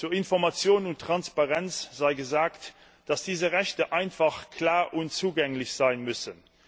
Zu Information und Transparenz sei gesagt, dass diese Rechte einfach, klar und zugänglich sein müssen.